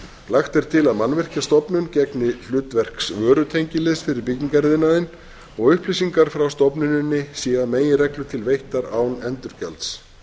lagt er til að mannvirkjastofnun gegni hlutverks vörutengiliðs fyrir byggingariðnaðinn og upplýsingar frá stofnuninni séu að meginreglu til veittar án endurgjalds